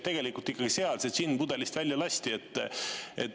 Tegelikult ikkagi siis see džinn pudelist välja lasti.